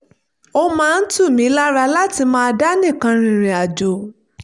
ó máa ń tù mí lára láti máa dá nìkan rìnrìn àjò